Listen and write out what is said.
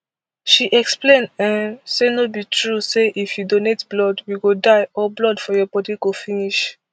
she explain um say no be true say if you donate blood you go die or blood for your bodi go finish